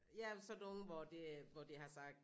Ja sådan nogen hvor det hvor de har sagt